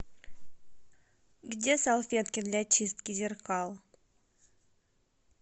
где салфетки для чистки зеркал